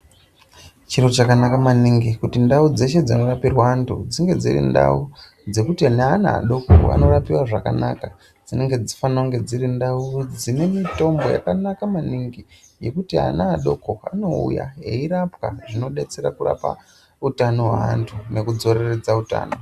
Chiro chakanaka maningi kuti ndau dzeshe dzinorapirwe antu dzinge dziri ndau dzekuti nanaa adoko anorapiwa zvakanaka dzinofanire kunge dziri ndau dzine mitombo yakanaka maningi yekuti ana adoko anouya eirapwa zvinodetsera kurapa utano hweantu nekudzoreredza utano.